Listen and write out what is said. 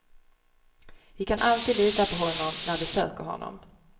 Vi kan alltid lita på honom när vi söker honom.